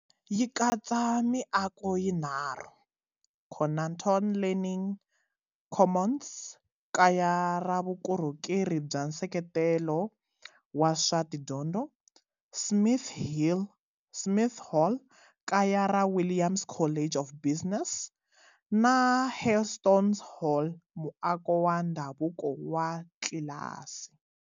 Yi katsa miako yinharhu-Conaton Learning Commons, kaya ra vukorhokeri bya nseketelo wa swa tidyondzo, Smith Hall, kaya ra Williams College of Business, na Hailstones Hall, muako wa ndhavuko wa tlilasi.